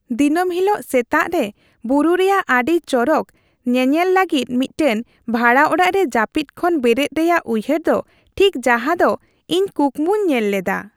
ᱫᱤᱱᱟᱹᱢ ᱦᱤᱞᱳᱜ ᱥᱮᱛᱟᱜ ᱨᱮ ᱵᱩᱨᱩ ᱨᱮᱭᱟᱜ ᱟᱹᱰᱤ ᱪᱚᱨᱚᱠ ᱧᱮᱱᱮᱞ ᱞᱟᱹᱜᱤᱫ ᱢᱤᱫᱴᱟᱝ ᱵᱷᱟᱲᱟ ᱚᱲᱟᱜ ᱨᱮ ᱡᱟᱹᱯᱤᱫ ᱠᱷᱚᱱ ᱵᱮᱨᱮᱫ ᱨᱮᱭᱟᱜ ᱩᱭᱦᱟᱹᱨ ᱫᱚ ᱴᱷᱤᱠ ᱡᱟᱦᱟᱸᱫᱚ ᱤᱧ ᱠᱩᱠᱢᱩᱧ ᱧᱮᱞ ᱞᱮᱫᱟ ᱾